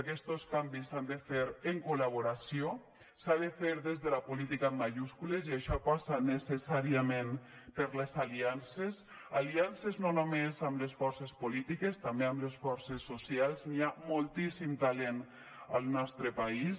aquests canvis s’han de fer en col·laboració s’ha de fer des de la política amb majúscules i això passa necessàriament per les aliances aliances no només amb les forces polítiques també amb les forces socials hi ha moltíssim talent al nostre país